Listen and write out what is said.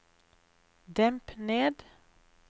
demp ned